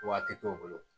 Waati t'o bolo